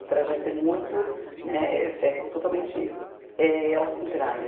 O trajeto é muito né, é totalmente eh ao contrário.